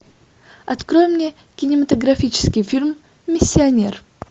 открой мне кинематографический фильм миссионер